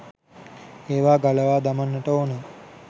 ඒවා ගලවා දමන්ට ඕන.